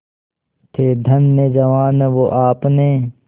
थे धन्य जवान वो आपने